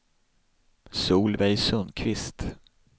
Solveig Sundqvist